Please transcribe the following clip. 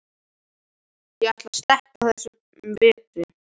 Ég ætla að sleppa þessum vetri.